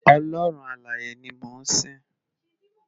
Òlòrún Àláyé ni mó n sin